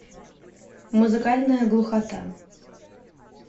музыкальная глухота